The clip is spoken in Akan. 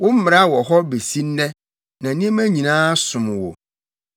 Wo mmara wɔ hɔ besi nnɛ, na nneɛma nyinaa som wo.